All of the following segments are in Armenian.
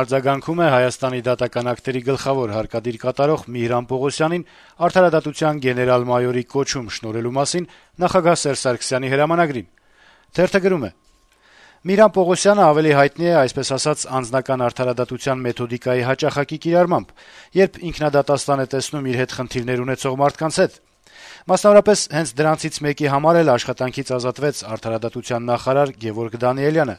արձագանքում է Դատական ակտերի հարկադիր կատարման ծառայության պետ Միհրան Պողոսյանին արդարադատության գեներալ-մայորի կոչում շնորհելու մասին նախագահ Սերժ Սարգսյանի հրամանագրին: Թերթը գրում է. - «Միհրան Պողոսյանն ավելի հայտնի է, այսպես ասած, «անձնական արդարադատության» մեթոդիկայի հաճախակի կիրառմամբ, երբ ինքնադատաստան է տեսնում իր հետ խնդիրներ ունեցող մարդկանց հետ: Մասնավորապես, հենց դրանցից մեկի համար էլ աշխատանքից ազատվեց արդարադատության նախարար Գեւորգ Դանիելյանը: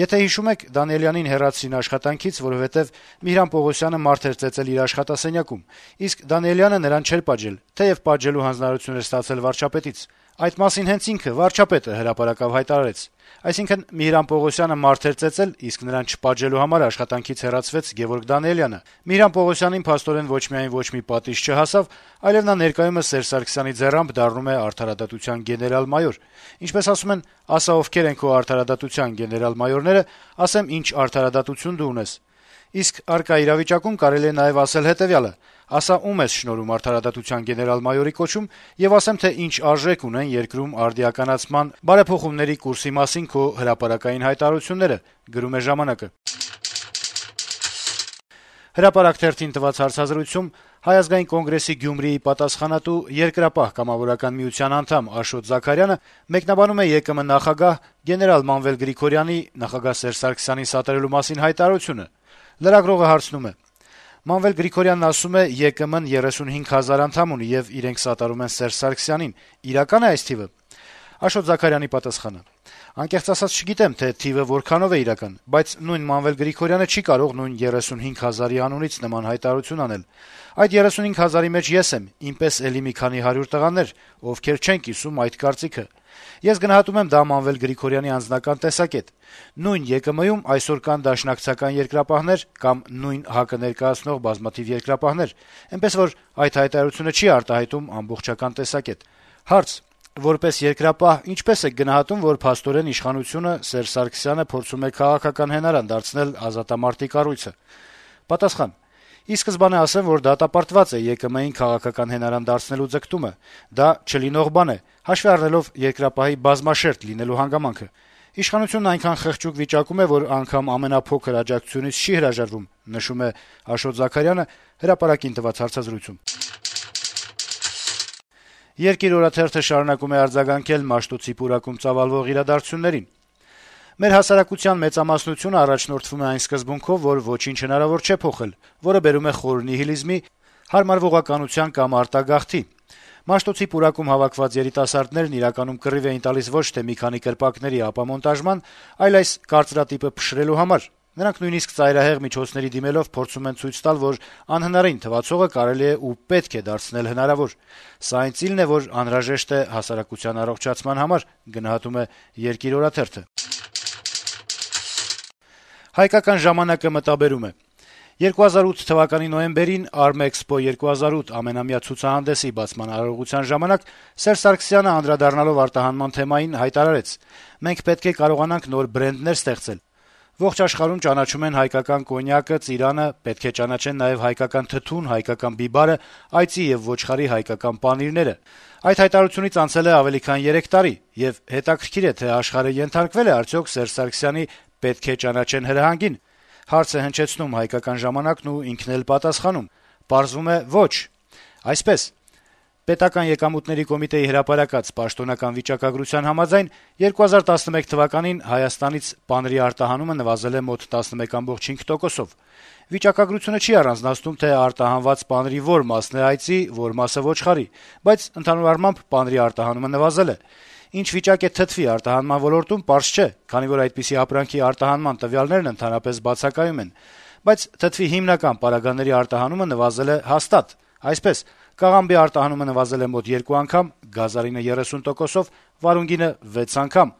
Եթե հիշում եք, Դանիելյանին հեռացրին աշխատանքից, որովհետեւ Միհրան Պողոսյանը մարդ էր ծեծել իր աշխատասենյակում, իսկ Դանիելյանը նրան չէր պատժել, թեեւ պատժելու հանձնարարություն էր ստացել վարչապետից: Այդ մասին հենց ինքը վարչապետը հրապարակավ հայտարարեց: Այսինքն` Միհրան Պողոսյանը մարդ էր ծեծել, իսկ նրան չպատժելու համար աշխատանքից հեռացվեց Գեւորգ Դանիելյանը: Միհրան Պողոսյանին, փաստորեն, ոչ միայն ոչ մի պատիժ չհասավ, այլեւ նա ներկայումս Սերժ Սարգսյանի ձեռամբ դառնում է արդարադատության գեներալ-մայոր: Ինչպես ասում են, ասա՝ ովքեր են քո արդարադատության գեներալ-մայորները, ասեմ՝ ինչ արդարադատություն դու ունես: Իսկ առկա իրավիճակում կարելի է նաեւ ասել հետեւյալը. ասա՝ ում ես շնորհում արդարադատության գեներալ-մայորի կոչում, եւ ասեմ, թե ինչ արժեք ունեն երկրում արդիականացման, բարեփոխումների կուրսի մասին քո հրապարակային հայտարարությունները»: «Հրապարակ» թերթին տված հարցազրույցում Հայ ազգային կոնգրեսի Գյումրիի պատասխանատու, Երկրապահ կամավորականների միության անդամ Աշոտ Զաքարյանը մեկնաբանում է ԵԿՄ նախագահ, գեներալ Մանվել Գրիգորյանի` նախագահ Սերժ Սարգսյանին սատարելու մասին հայտարարությունը: Լրագրողը հարցնում է.- «Մանվել Գրիգորյանն ասում է` ԵԿՄ-ն 35 հազար անդամ ունի, եւ իրենք սատարում են Սերժ Սարգսյանին, իրակա՞ն է այս թիվը»: Աշոտ Զաքարյանի պատասխանը. - «Անկեղծ ասած` չգիտեմ, թե թիվը որքանով է իրական, բայց նույն Մանվել Գրիգորյանը չի կարող նույն 35 հազարի անունից նման հայտարարություն անել: Այդ 35 հազարի մեջ ես եմ, իմ պես էլի մի քանի հարյուր տղաներ, ովքեր չեն կիսում էդ կարծիքը: Ես գնահատում եմ դա Մանվել Գրիգորյանի անձնական տեսակետ: Նույն ԵԿՄ-ում այսօր կան դաշնակցական երկրապահներ կամ նույն ՀԱԿ-ը ներկայացնող բազմաթիվ երկրապահներ: Էնպես որ այդ հայտարարությունը չի արտահայտում ամբողջական տեսակետ»: Հարց. - «Որպես երկրապահ, ինչպե՞ս եք գնահատում, որ փաստորեն իշխանությունը` Սերժ Սարգսյանը, փորձում է քաղաքական հենարան դարձնել ազատամարտի կառույցը»: Պատասխան. - «Ի սկզբանե ասեմ, որ դատապարտված է ԵԿՄ-ին քաղաքական հենարան դարձնելու ձգտումը: Դա չլինող բան է: Հաշվի առնելով «Երկրապահի» բազմաշերտ լինելու հանգամանքը… Իշխանությունն այնքան խղճուկ վիճակում է, որ անգամ ամենափոքր աջակցությունից չի հրաժարվում»: «Երկիր» օրաթերթը շարունակում է արձագանքել Մաշտոցի պուրակում ծավալվող իրադարձություններին. - «Մեր հասարակության մեծամասնությունն առաջնորդվում է այն սկզբունքով, որ ոչինչ հնարավոր չէ փոխել, որը բերում է նոր նիհիլիզմի, հարմարվողականության կամ արտագաղթի: Մաշտոցի պուրակում հավաքված երիտասարդներն իրականում կռիվ են տալիս ոչ թե մի քանի կրպակների ապամոնտաժման, այլ այս կարծրատիպը փշրելու համար: Նրանք նույնիսկ ծայրահեղ միջոցների դիմելով` փորձում են ցույց տալ, որ անհնարին թվացողը կարելի է ու պետք է դարձնել հնարավոր: Սա այն ծիլն է, որն անհրաժեշտ է հասարակության առողջացման համար»: «Հայկական ժամանակ»-ը մտաբերում է. - «2008 թվականի նոյեմբերին «Արմէքսպո-2008» ամենամյա ցուցահանդեսի բացման արարողության ժամանակ Սերժ Սարգսյանը, անդրադառնալով արտահանման թեմային, հայտարարեց. «Մենք պետք է կարողանանք նոր բրենդներ ստեղծել: Ողջ աշխարհում ճանաչում են հայկական կոնյակը, ծիրանը, պետք է ճանաչեն նաեւ հայկական թթուն, հայկական բիբարը, այծի եւ ոչխարի հայկական պանիրները»: Այդ հայտարարությունից անցել է ավելի քան 3 տարի, եւ հետաքրքիր է, թե աշխարհը ենթարկվե՞լ է արդյոք Սերժ Սարգսյանի` «պետք է ճանաչեն» հրահանգին: Պարզվում է` ոչ: Այսպես, ՊԵԿ հրապարակած պաշտոնական վիճակագրության համաձայն, 2011 թվականին Հայաստանից պանրի արտահանումը նվազել է մոտ 11.5 տոկոսով: Վիճակագրությունը չի առանձնացնում, թե արտահանված պանրի որ մասն է այծի, որ մասը` ոչխարի, բայց, ընդհանուր առմամբ, պանրի արտահանումը նվազել է: Ինչ վիճակ է թթվի արտահանման ոլորտում` պարզ չէ, քանի որ այդպիսի ապրանքի արտահանման տվյալներն ընդհանրապես բացակայում են: Բայց թթվի հիմնական պարագաների արտահանումը նվազել է հաստատ: Այսպես, կաղամբի արտահանումը նվազել է մոտ երկու անգամ, գազարինը` 30 տոկոսով, վարունգինը` 6 անգամ»: